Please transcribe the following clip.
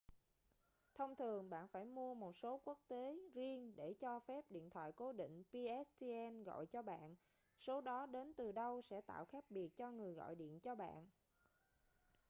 thông thường bạn phải mua một số quốc tế riêng để cho phép điện thoại cố định pstn gọi cho bạn số đó đến từ đâu sẽ tạo khác biệt cho người gọi điện cho bạn